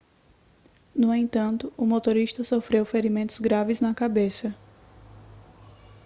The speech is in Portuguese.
no entanto o motorista sofreu ferimentos graves na cabeça